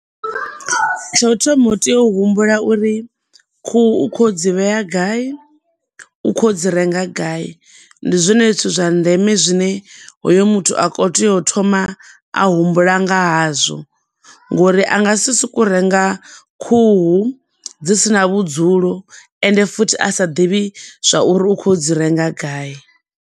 Tsho u thoma u tea u humbula uri khuhu u khou ya u dzi vhea gai, u khou ya u dzi renga gai. Ndi zwone zwithu zwa ndeme zwine hoyo muthu a khou tea u thoma a humbula nga hazwo ngo uri a nga si soko u renga khuhu dzi si na vhudzulo ende futhi a sa ḓivhi zwa uri u khou ya u dzi renga gai.